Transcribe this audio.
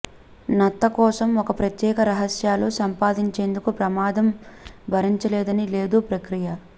నత్త కోసం ఒక ప్రత్యేక రహస్యాలు సంపాదించేందుకు ప్రమాదం భరించలేదని లేదు ప్రక్రియ